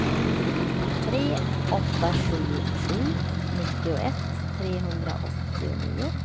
tre åtta sju sju nittioett trehundraåttionio